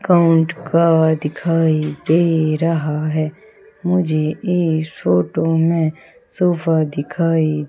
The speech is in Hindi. काउंट का दिखाई दे रहा है। मुझे इस फोटो में सोफा दिखाई--